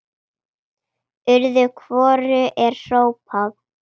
Öðru hvoru er hrópað.